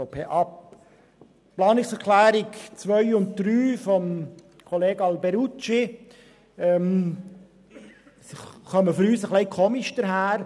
Die Planungserklärungen 2 und 3 von Grossrat Alberucci erscheinen uns etwas eigenartig.